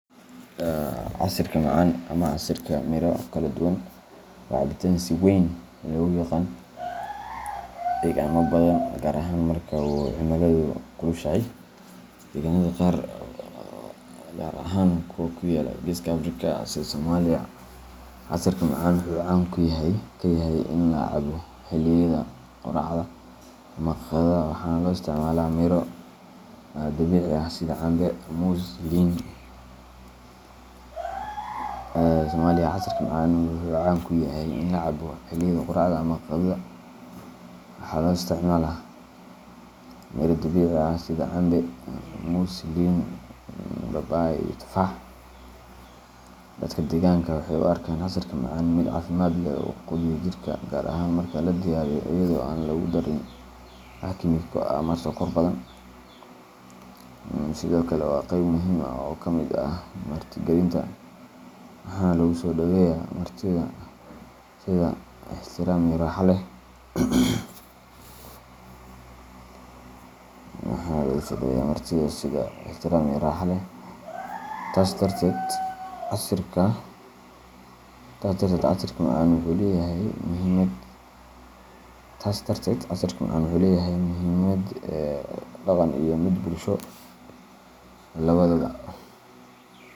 Casiirka macaan ama casiirka miro kala duwan waa cabitaan si weyn loogu yaqaan deegaano badan, gaar ahaan marka uu cimiladu kulushahay. Deegaannada qaar, gaar ahaan kuwa ku yaalla geeska Afrika sida Soomaaliya, casiirka macaan wuxuu caan ka yahay in la cabo xilliyada quraacda ama qadada, waxaana loo isticmaalaa miro dabiici ah sida cambe, muus, liin, babaay, iyo tufaax. Dadka deegaanka waxay u arkaan casiirka macaan mid caafimaad leh oo quudinaya jirka, gaar ahaan marka la diyaariyo iyadoo aan lagu darin wax kiimiko ah ama sokor badan. Sidoo kale, waa qayb muhiim ah oo ka mid ah martigelinta, waxaana lagu soo dhoweeyaa martida sida ikhtiraam iyo raaxo leh. Taas darteed, casiirka macaan wuxuu leeyahay muhiimad dhaqan iyo mid bulsho labadaba.